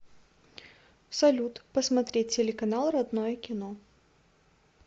салют посмотреть телеканал родное кино